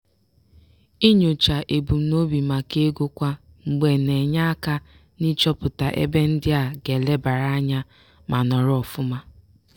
inyocha ebumnobi maka ego kwa mgbe na-enye aka n'ịchọpụta ebe ndị a ga-elebara anya ma nọrọ ọfụma.